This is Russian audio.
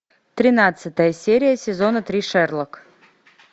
тринадцатая серия сезона три шерлок